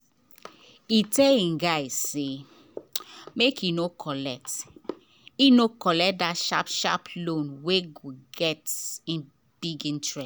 he tell him guy say make e no collect e no collect that sharp sharp loan wey get big interest.